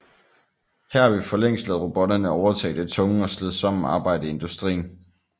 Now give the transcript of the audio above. Her har vi for længst ladet robotterne overtage det tunge og slidsomme arbejde i industrien